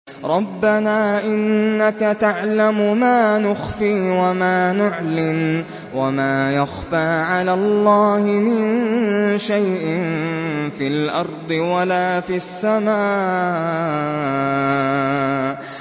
رَبَّنَا إِنَّكَ تَعْلَمُ مَا نُخْفِي وَمَا نُعْلِنُ ۗ وَمَا يَخْفَىٰ عَلَى اللَّهِ مِن شَيْءٍ فِي الْأَرْضِ وَلَا فِي السَّمَاءِ